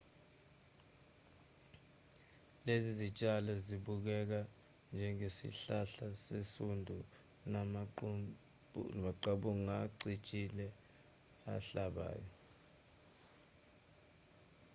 lezi zitshalo sibukeka njengesihlala sesundu namaqabunga acijile ahlabayo